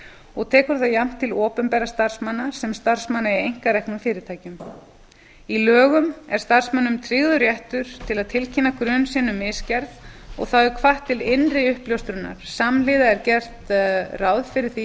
og tekur það jafnt til opinberra starfsmanna sem starfsmanna í einkareknum fyrirtækjum í lögum er starfsmönnum tryggður réttur til að tilkynna grun sinn um misgerð og þá er hvatt til innri uppljóstrunar samhliða er gert ráð fyrir því